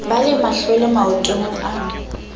ba le mahlwele maotong e